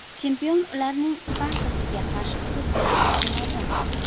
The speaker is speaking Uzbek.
Chempion ularning barchasiga qarshi turib bera olishi lozim.